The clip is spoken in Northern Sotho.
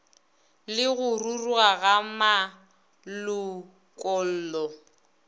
le go ruruga ga malokollo